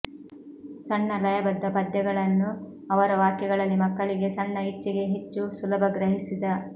ಸಣ್ಣ ಲಯಬದ್ಧ ಪದ್ಯಗಳನ್ನು ಅವರ ವಾಕ್ಯಗಳಲ್ಲಿ ಮಕ್ಕಳಿಗೆ ಸಣ್ಣ ಇಚ್ಛೆಗೆ ಹೆಚ್ಚು ಸುಲಭ ಗ್ರಹಿಸಿದ